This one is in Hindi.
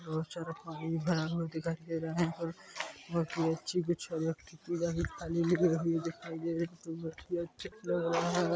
बहुत सारा पानी भरा हुआ दिखाई दे रहा है